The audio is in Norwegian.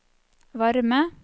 varme